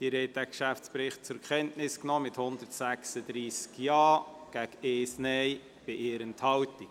Sie haben diesen Geschäftsbericht zur Kenntnis genommen mit 136 Ja-Stimmen bei 1 Nein-Stimme und 1 Enthaltung.